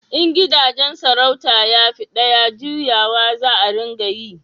in gidajen sarauta ya fi daya, juyawa za a ringa yi